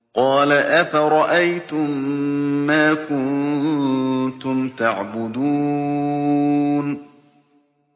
قَالَ أَفَرَأَيْتُم مَّا كُنتُمْ تَعْبُدُونَ